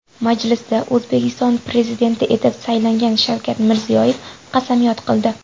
Majlisda O‘zbekiston Prezidenti etib saylangan Shavkat Mirziyoyev qasamyod qildi .